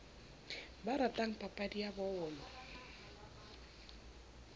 ba ratang papadi ya bolo